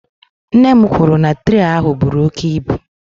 Nne m kwuru na traị ahụ buru oke ibu.